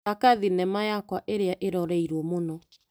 Thaka thinema yakwa ĩrĩa ĩroreirwo mũno.